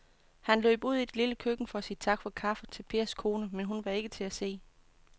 Han løb ud i det lille køkken for at sige tak for kaffe til Pers kone, men hun var ikke til at se.